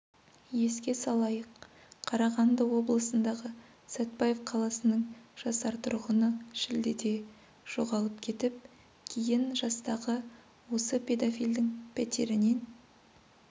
еске салайық қарағанды облысындағы сәтбаев қаласының жасар тұрғыны шілдеде жоғалып кетіп кейін жастағы осы педофилдің пәтерінен